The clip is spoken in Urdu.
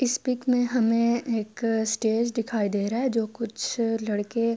اس پک مے ہمیں ایک اسٹیج دکھائی دے رہا ہے جو کچھ لڑکے--